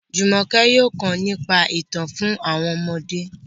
Jumoke yóò kọ nípa itan fun àwọn ọmọde.